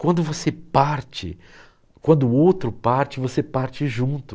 Quando você parte, quando o outro parte, você parte junto.